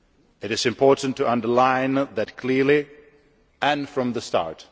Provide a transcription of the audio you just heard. It is important to underline that clearly, and from the start.